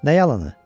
Nə yalanı?